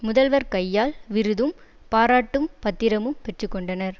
முதல்வர் கையால் விருதும் பாராட்டும் பத்திரமும் பெற்று கொண்டனர்